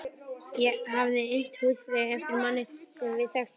Ég hafði innt húsfreyju eftir manni sem við þekktum bæði.